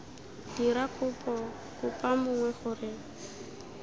dira kopo kopa mongwe gore